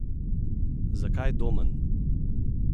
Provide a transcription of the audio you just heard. Zakaj Domen?